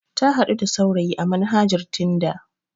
Ta haɗu da saurayi a manhajar tinda.